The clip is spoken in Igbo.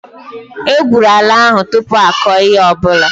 E gwụrụ ala ahu tụpụ akọ ihe ọbụla